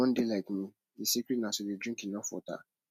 if you wan dey like me the secret na to dey drink enough water